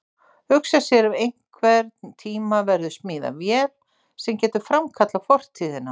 Hugsa sér ef einhvern tíma verður smíðuð vél sem getur framkallað fortíðina.